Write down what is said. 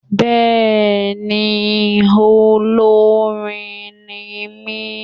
Béèni olórin ni mí